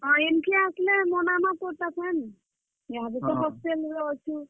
ହଁ, ଇନ୍ କେ ଆସ୍ ଲେ ମନାମା ତୋର୍ ଟା ଫେନ୍, ଇହାଦେ ତ hostel ରେ ଅଛୁ।